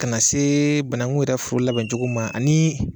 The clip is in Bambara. Ka na se bananku yɛrɛ foro labɛncogo ma ani